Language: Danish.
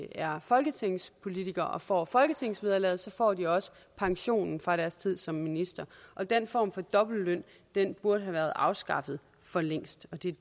er folketingspolitikere og får folketingsvederlaget får de også pensionen fra deres tid som minister den form for dobbeltløn burde have været afskaffet for længst